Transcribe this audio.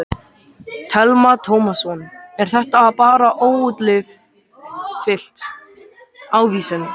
Telma Tómasson: Er þetta bara óútfyllt ávísun?